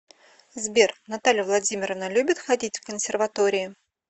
сбер наталья владимировна любит ходить в консерватории